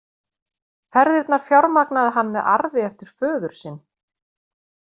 Ferðirnar fjármagnaði hann með arfi eftir föður sinn.